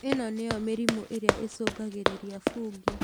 ĩno nĩyo mĩrimũ ĩrĩa ĩcũngagĩrĩria fungi